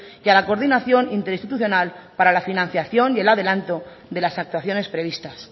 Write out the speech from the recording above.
y a la coordinación interinstitucional para la financiación y el adelanto de las actuaciones previstas